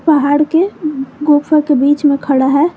पहाड़ के गुफा के बीच में खड़ा है।